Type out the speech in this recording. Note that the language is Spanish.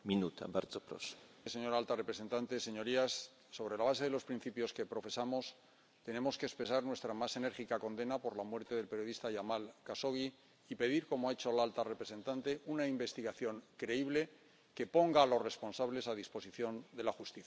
Señor presidente, señora alta representante, señorías, sobre la base de los principios que profesamos, tenemos que expresar nuestra más enérgica condena por la muerte del periodista Yamal Jashogui y pedir, como ha hecho la alta representante, una investigación creíble que ponga a los responsables a disposición de la justicia.